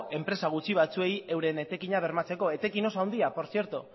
enpresa gutxi batzuei beren etekina bermatzeko etekin oso handia por cierto